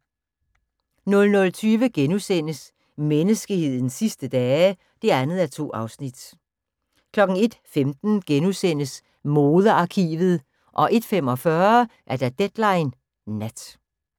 00:20: Menneskehedens sidste dage (2:2)* 01:15: Modearkivet * 01:45: Deadline Nat